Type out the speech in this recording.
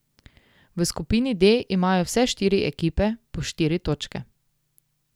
V skupini D imajo vse štiri ekipe po štiri točke.